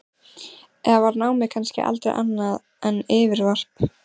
Eða var námið kannski aldrei annað en yfirvarp?